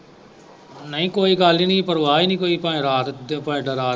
ਨਹੀਂ ਕੋਈ ਗੱਲ ਹੀ ਨਹੀਂ ਪਰਵਾਹ ਹੀ ਨਹੀਂ ਕੋਈ ਭਾਵੇਂ ਰਾਤ .